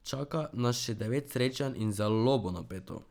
Čaka nas še devet srečanj in zelo bo napeto.